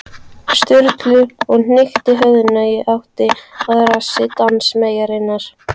Sturlu og hnykkti höfðinu í áttina að rassi dansmeyjarinnar.